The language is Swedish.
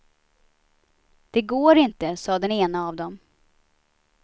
Det går inte, sade den ena av dem.